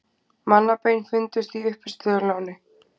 Mannabein fundust í uppistöðulóni